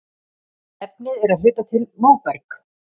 Efnið er að hluta til móberg.